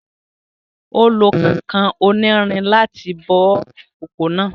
Ó lo kànkàn onírin láti bó ìkòkò náà